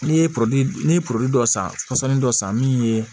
Ne ye ne ye dɔ san dɔ san min ye